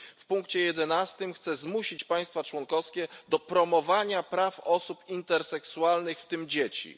W punkcie jedenastym chce zmusić państwa członkowskie do promowania praw osób interseksualnych, w tym dzieci.